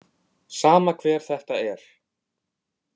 Sama hver þetta er.